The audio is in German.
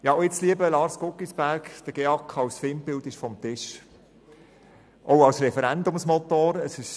Ja und jetzt, lieber Lars Guggisberg: der GEAK als Feindbild und auch als Referendumsmotor ist vom Tisch.